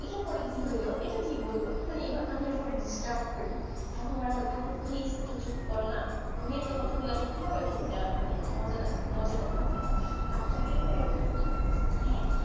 এটার পরে কি হইলো এটা কি বললো মানে এইবা আমি এইভাবে disturb করি তখন োর বলে আপু please একটু চুপ করোনা তুমি এত কথা বললে আমি কি ভাবে movie তা মানে মজা টা থাকেনা আর যদি